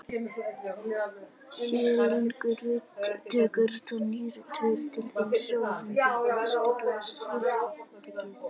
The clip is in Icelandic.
séu lungun veik tekur það nýrun tveir til þrír sólarhringa að stilla sýrustigið